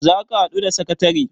za ka haɗu da sakatare?